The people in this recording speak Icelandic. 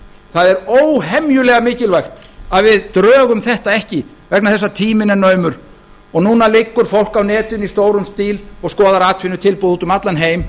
það er óhemjulega mikilvægt að við drögum þetta ekki vegna þess að tíminn er naumur og núna liggur fólk á netinu í stórum stíl og skoðar atvinnutilboð úti um allan heim